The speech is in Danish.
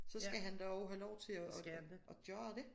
Så skal han da også have lov til at at gøre det